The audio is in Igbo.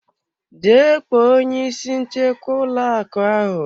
Jee kpọọ onye isi nchekwa ụlọ akụ ahụ.